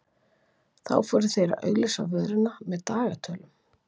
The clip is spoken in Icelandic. þá fóru þeir að auglýsa vöruna með dagatölum